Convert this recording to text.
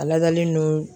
A ladalen don